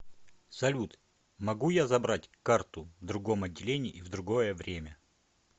салют могу я забрать карту в другом отделении и в другое время